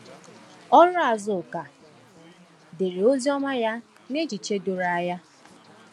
Ọrụ Azuka dere Oziọma ya n’echiche doro anya.